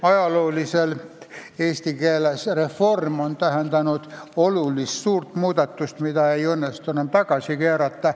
Ajalooliselt on sõna "reform" eesti keeles tähendanud olulist, suurt muudatust, mida ei õnnestu enam tagasi keerata.